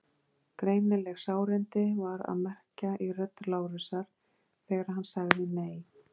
Greinileg sárindi var að merkja í rödd Lárusar þegar hann sagði: Nei.